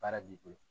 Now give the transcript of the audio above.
Baara b'i bolo